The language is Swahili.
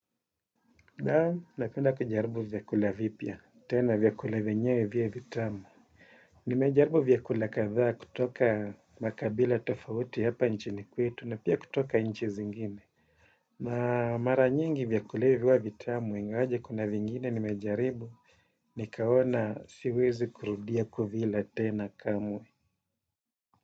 Napenda kujaribu vyakula vipya, tena vyakula vyenyewe viwe vitamu. Nimejaribu vyakula kadhaa kutoka makabila tofauti hapa nchini kwetu na pia kutoka nchi zingine. Na maranyingi vyakula hivi huwa vitamu, ingawaje kuna vingine nimejaribu, nikaona siwezi kurudia kuvila tena kamwe.